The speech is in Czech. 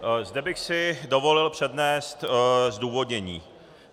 Zde bych si dovolil přednést zdůvodnění.